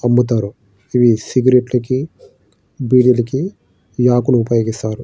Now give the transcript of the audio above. అమ్ముతారు ఇవి సిగరెట్ల కి బీడీలకి ఈ ఆకును ఉపయోగిస్తారు.